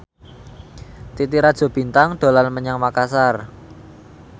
Titi Rajo Bintang dolan menyang Makasar